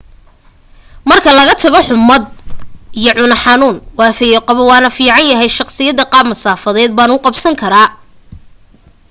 marka laga tago xummad iyo cuno xanuun waan fayo qabaa oo waan fiicnahay shaqadaydana qaab masaafeed baan u qabsan karaa